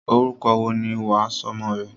Orúkọ wo ni wà á sọ ọmọ rẹ?